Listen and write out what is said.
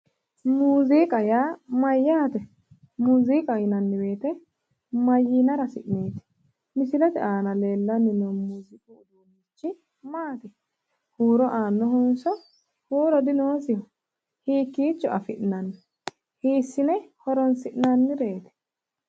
Muuziiqa yaa mayyaate? Muuziiqaho yinanni woyite mayyiinara hasi'neeti? Misilete aana leellanni noorichi maati? Huuro aannohonso huuro dinoosiho? Hiikkiicho afi'nanni? Hiissine horoonsi'nannireeti?